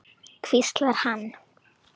hvíslar hann.